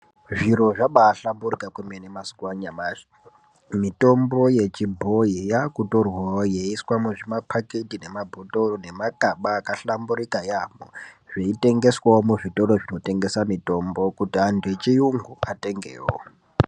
Zviro zvabahlamburika kwemene mazuva anyamashi. Mitombo yechibhoi yakutorwavo ichiswa muzvima paketi ,memabhotoro nemakaba akahlamburika yaamho. Zvitengeswavo muzvitoro zvinotengesa mitombo kuti antu echiyungu atengevo.